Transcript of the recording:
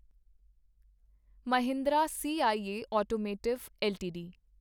Mahindra CIE automotive LTD